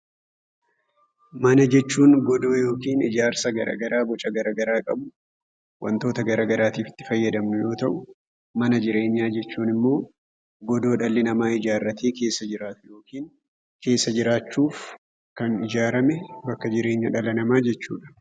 Mana jechuun godoo yookin ijaarsa garagaraa boca gara garaa qabu wantoota garagaraatiif itti fayyadamnu yoo ta'u mana jireenyaa jechuun immoo godoo dhalli namaa ijaarratee keessa jiraatu yookin keessa jiraachuuf kan ijaarame bakka jireenya dhala namaa jechuudha.